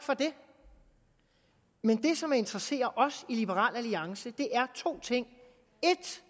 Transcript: men det som interesserer os i liberal alliance er to ting